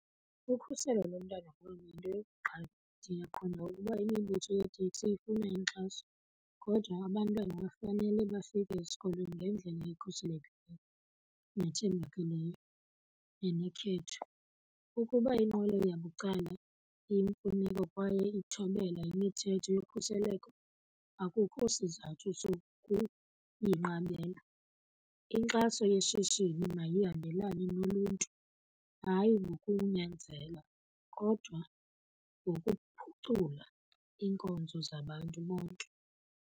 Ukhuselo lomntwana kum yinto yokuqala. Ndiyaqonda ukuba imibutho yeeteksi ifuna inkxaso kodwa abantwana bafanele bafike esikolweni ngendlela ekhuselekileyo nethembakeleyo nenokhetho. Ukuba inqwelo yabucala iyimfuneko kwaye ithobela imithetho yokhuseleko, akukho sizathu sokuyinqabela. Inkxaso yeshishini mayihambelane noluntu, hayi ngokunyanzela kodwa ngokuphucula iinkonzo zabantu bonke.